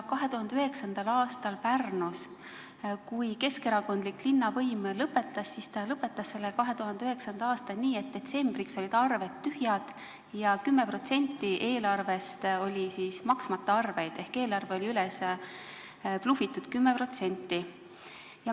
2009. aastal Pärnus, kui keskerakondlik linnavõim lõpetas, siis ta lõpetas selle 2009. aasta nii, et detsembriks olid arved tühjad, 10% eelarvest olid maksmata arved ehk eelarve oli 10% üles blufitud.